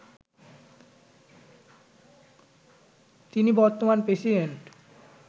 তিনি বর্তমান প্রেসিডেন্ট